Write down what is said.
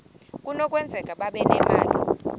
kunokwenzeka babe nemali